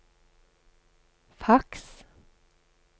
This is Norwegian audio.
faks